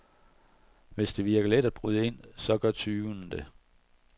Hvis det virker let at bryde ind, så gør tyvene det.